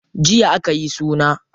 Jiya akayi suna.